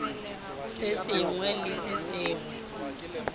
se sengwe le se sengwe